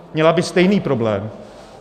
Měla by stejný problém.